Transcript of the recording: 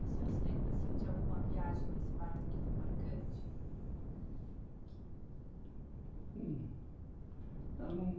O senhor se lembra assim de alguma viagem nesse barco que foi marcante? Bom, eu não